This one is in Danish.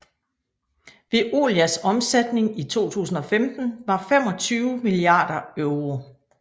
Veolias omsætning i 2015 var 25 milliarder euro